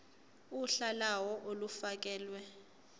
uhla lawo olufakelwe